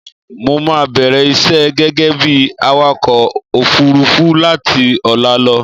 Mo máa bẹ̀rẹ̀ iṣẹ́ gẹ́gẹ́ bí awakọ òfurufú láti ọ̀la lọ.